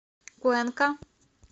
куэнка